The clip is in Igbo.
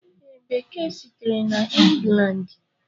Ee, Bekee sitere na England.